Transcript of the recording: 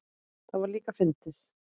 Það var líka fyndið.